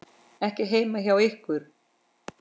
Ekki heima hjá ykkur.